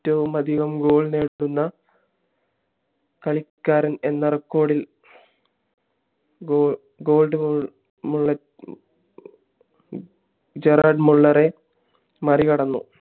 ഏറ്റവുമതികം goal നേടുന്ന കളിക്കാരൻ എന്ന record ഇൽ ഗെറാഡ് മുള്ളറെ മറികടന്നു